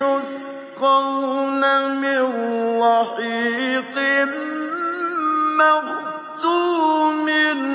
يُسْقَوْنَ مِن رَّحِيقٍ مَّخْتُومٍ